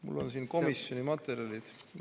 Mul on siin komisjoni materjalid.